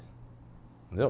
Entendeu?